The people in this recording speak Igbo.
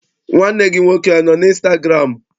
Nwanne gị nwoke anọ n' ịnstagụramụ?